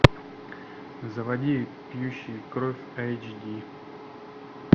заводи пьющие кровь эйч ди